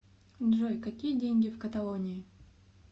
джой какие деньги в каталонии